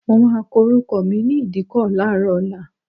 Mo máa kọ orúkọ mi ní ìdíkọ̀ láàárọ̀ ọ̀la.